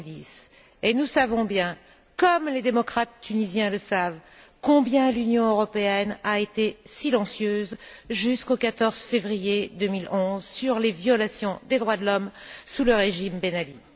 2010. Nous savons bien, comme les démocrates tunisiens le savent, combien l'Union européenne a été silencieuse, jusqu'au 14 février 2011, sur les violations des droits de l'homme sous le régime Ben Ali.